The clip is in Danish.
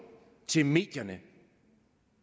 til medierne